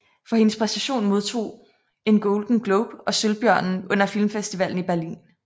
For hendes præstation modtog en Golden Globe og Sølvbjørnen under Filmfestivalen i Berlin